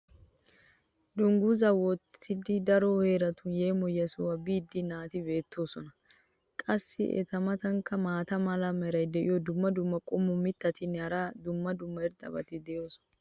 dangguzaa wottidi daro heeratun yeemoyiyaa sohuwa biida naati beetoosona. qassi eta matankka maata mala meray diyo dumma dumma qommo mitattinne hara dumma dumma irxxabati de'oosona.